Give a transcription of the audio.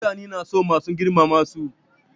Mutane suna son mai girmama su.